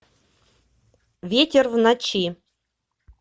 ветер в ночи